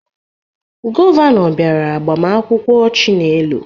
Gọvanọ bịara agbamakwụkwọ Chinelo